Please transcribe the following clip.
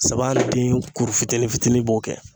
Zaban ni den kuru fitinin fitinin b'o kɛ.